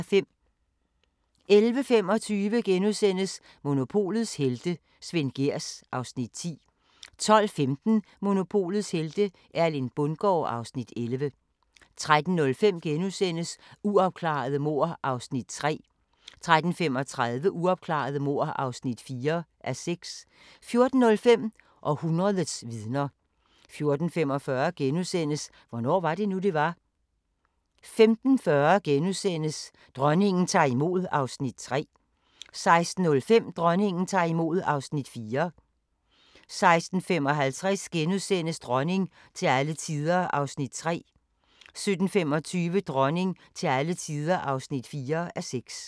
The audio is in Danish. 11:25: Monopolets helte - Svend Gehrs (Afs. 10)* 12:15: Monopolets helte - Erling Bundgaard (Afs. 11) 13:05: Uopklarede mord (3:6)* 13:35: Uopklarede mord (4:6) 14:05: Århundredets vidner 14:45: Hvornår var det nu, det var? * 15:40: Dronningen tager imod (Afs. 3)* 16:05: Dronningen tager imod (Afs. 4) 16:55: Dronning til alle tider (3:6)* 17:25: Dronning til alle tider (4:6)